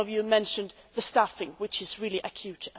Some of you mentioned the staffing, which is also really acute.